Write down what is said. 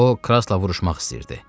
O Krassla vuruşmaq istəyirdi.